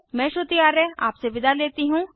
मैं श्रुति आर्य आपसे विदा लेती हूँ